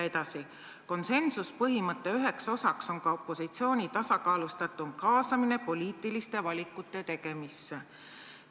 " Edasi: "Konsensuspõhimõtte üheks osaks on ka opositsiooni tasakaalustatum kaasamine poliitiliste valikute tegemisse.